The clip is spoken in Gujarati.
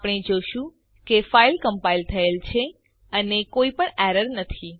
આપણે જોશું કે ફાઈલ કમ્પાઈલ થયેલ છે અને કોઈ પણ એરર નથી